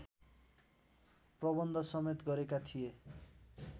प्रबन्धसमेत गरेका थिए